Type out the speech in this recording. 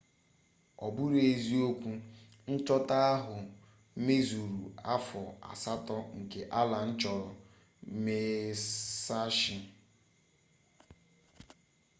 ọ bụrụ eziokwu nchọta ahụ mezuru afọ asatọ nke allen chọrọ musashi